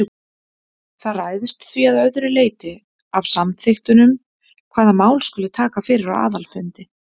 Það ræðst því að öðru leyti af samþykktunum hvaða mál skuli taka fyrir á aðalfundi.